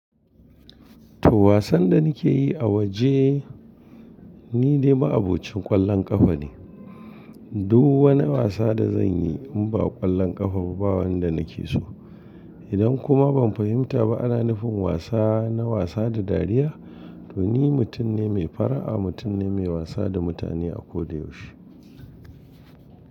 Tuh wasan da nike yi a waje ni de ma'abocin ƙwallon ƙafa ne. Duk wani wasa da zan yi in ba ƙwallon ƙafa ba wanda nake so. Idan kuma ban fahimta ba ana nufin wasa na wasa da dariya to ni mutum ne mai fara'a, mutum ne mai wasa da mutane a ko da yaushe.